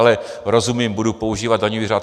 Ale rozumím, budu používat daňový řád.